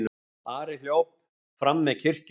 Ari hljóp fram með kirkjunni.